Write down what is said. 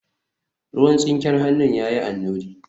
ruwan tsinken hannun ya yi annuri